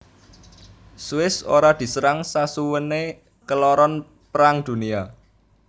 Swiss ora diserang sasuwene keloron Perang Dunia